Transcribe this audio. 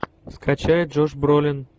скачай джош бролин